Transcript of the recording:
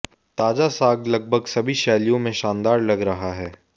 ताजा साग लगभग सभी शैलियों में शानदार लग रहा है